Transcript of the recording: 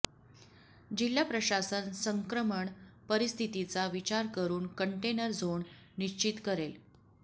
जिल्हा प्रशासन संक्रमण परिस्थितीचा विचार करून कंटेनर झोन निश्चित करेल